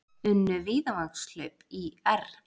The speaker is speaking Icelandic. Unnu Víðavangshlaup ÍR